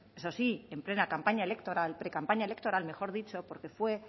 eso sí en plena campaña electoral precampaña electoral mejor dicho porque fue en